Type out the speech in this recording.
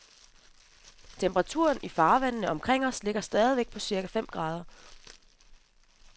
Temperaturen i farvandene omkring os ligger stadig på cirka fem grader.